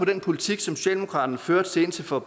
den politik som socialdemokratiet førte indtil for